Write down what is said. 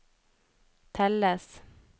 telles